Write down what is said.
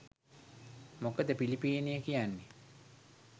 මොකද පිලිපීනය කියන්නේ